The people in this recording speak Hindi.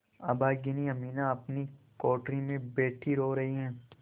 अभागिनी अमीना अपनी कोठरी में बैठी रो रही है